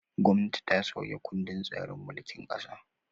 Gwamnati ta sauya kundin tsarin mulkin ƙasa.